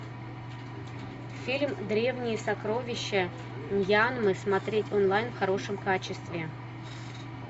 фильм древние сокровища мьянмы смотреть онлайн в хорошем качестве